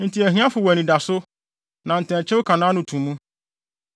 Enti ahiafo wɔ anidaso, na ntɛnkyew ka nʼano to mu.